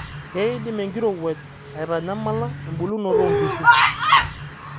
keidim enkirewuaj aitanyamala embulunto oo nkishu